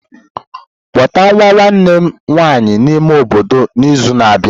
Kpọta nwa nwanne m nwanyị n'ime obodo n'izu na-abịa.